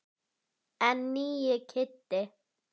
En nýi Kiddi.